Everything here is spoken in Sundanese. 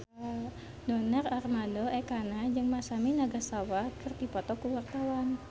Donar Armando Ekana jeung Masami Nagasawa keur dipoto ku wartawan